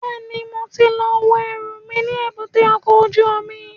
Bẹ́ẹ̀ni, mo ti lọ wo ẹrù mi ní èbúté ọkọ̀ ojú omi